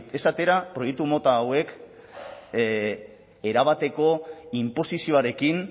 ez atera proiektu mota hauek erabateko inposizioarekin